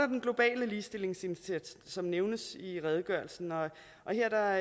den globale ligestillingsindsats som nævnes i redegørelsen og her